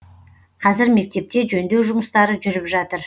қазір мектепте жөндеу жұмыстары жүріп жатыр